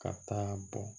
Ka taa bɔn